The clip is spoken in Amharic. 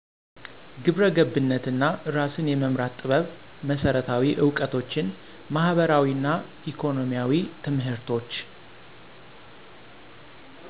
ግብረ ገብነት እና እራስን የመምራትን ጥበብ መሰረታዊ እውቀቶችን ማህበራዊ እና ኢኮኖሚያዊ ትምህርቶች።